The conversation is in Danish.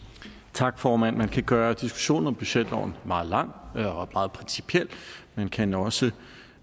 tak formand man kan gøre diskussionen om budgetloven meget lang og meget principiel man kan også